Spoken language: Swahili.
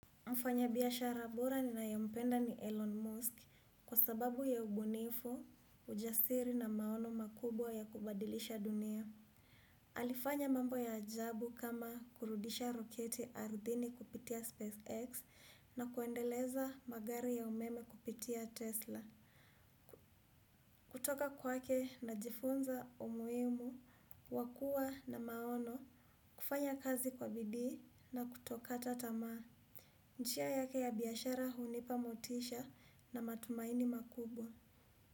Mfanyabiashara bora ninayempenda ni Elon Musk kwa sababu ya ubunifu, ujasiri na maono makubwa ya kubadilisha dunia. Alifanya mambo ya ajabu kama kurudisha roketi ardhini kupitia SpaceX na kuendeleza magari ya umeme kupitia Tesla. Kutoka kwake najifunza umuimu, wa kuwa na maono, kufanya kazi kwa bidii na kutokata tamaa. Njia yake ya biashara hunipa motisha na matumaini makubwa.